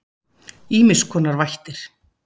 Ýmiss konar vættir.